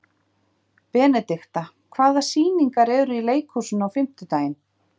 Benidikta, hvaða sýningar eru í leikhúsinu á fimmtudaginn?